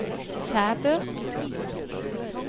Sæbø